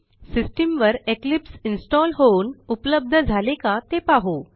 system वर Eclipse install होऊन उपलब्ध झाले का ते पाहू